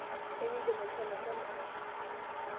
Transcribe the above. Enkidim aishoo mashomo ang'?